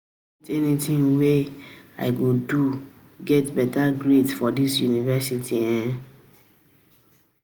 e um no get anything wey I no fit do to get better grades um for dis university um